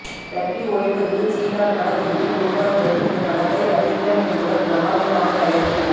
டட்லி ஒளிப்பதிவில் ஸ்ரீகாந்த் படத்தொகுப்பில் உருவாகி வரும் இந்த படத்தை ரவீந்திரன் ரவீந்திரன் என்பவர் பிரமாண்டமாக தயாரித்துள்ளார்